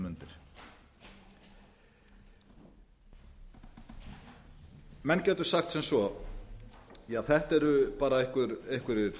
þessar mundir menn gætu sagt sem svo ja þetta eru bara einhverjir